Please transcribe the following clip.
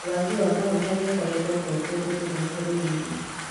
Wagi wamaguta nĩ ũkoretwo kuo kũndũ kũmwe bũrũri-inĩ